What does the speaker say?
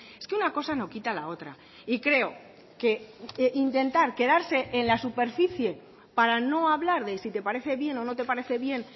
es que una cosa no quita la otra y creo que intentar quedarse en la superficie para no hablar de si te parece bien o no te parece bien